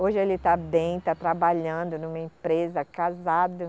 Hoje ele está bem, está trabalhando numa empresa, casado.